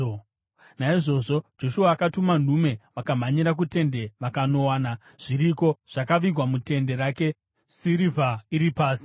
Naizvozvo Joshua akatuma nhume, vakamhanyira kutende, vakanowana zviriko, zvakavigwa mutende rake, sirivha iri pasi.